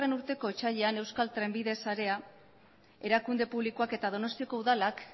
urteko otsailean euskal trenbide sarea erakunde publikoak eta donostiako udalak